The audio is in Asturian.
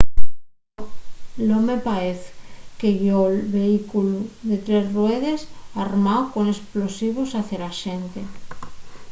l’home paez que guió’l vehículu de tres ruedes armáu con esplosivos hacia la xente